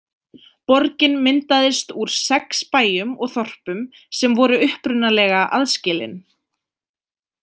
Borgin myndaðist úr sex bæjum og þorpum sem voru upprunalega aðskilin.